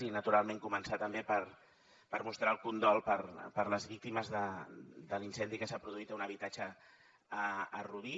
i naturalment començar també per mostrar el condol per les víctimes de l’incendi que s’ha produït a un habitatge a rubí